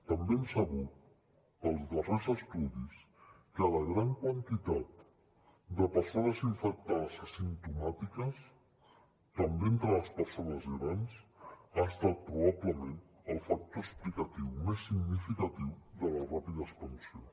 també hem sabut pels darrers estudis que la gran quantitat de persones infectades asimptomàtiques també entre les persones grans ha estat probablement el factor explicatiu més significatiu de la ràpida expansió